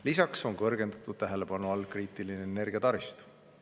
Lisaks on kõrgendatud tähelepanu all kriitiline energiataristu.